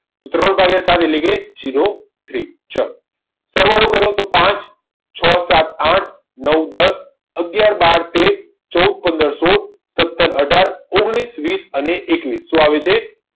ત્રણ ભાગ્યા સાત એટલે zero three સરવાળો કરો તો પાઠ છ સાત આઠ નવ દસ અગિયાર બાર તેર ચૌદ પંદર સોળ સત્તર અઢાર ઓગણીસ વીસ અને એકવીસ શું આવે છે